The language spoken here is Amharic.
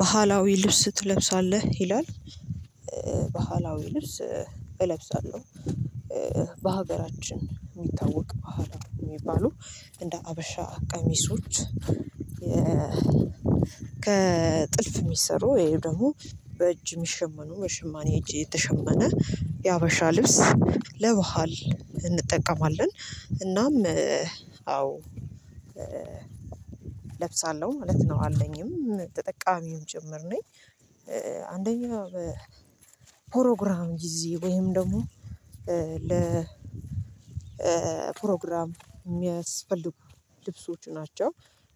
ባህላዊ ልብስ ትለብሳለህ ይላል? ባህላዊ ልብስ እለብሳለሁ በሀገራችን የሚታወቅ ባህላዊ የሚባሉ እንደ ሀበሻ ቀሚሶች ከጥልፍ የሚሰሩ ወይ ደግሞ በእጅ የሚሸመኑ በሸማኔ እጅ የተሸመነ የሀበሻ ልብስ ለባህል እንጠቀማለን እናም አዎ እለብሳለሁ ማለት ነው አለኝም ተጠቃሚም ጭምር ነኝ። አንደኛ ፕሮግራም ጊዜ ወይም ደግሞ ለፕሮግራም የሚያስፈልጉ ልብሶች ናቸው